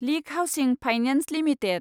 leak Housing Finance limited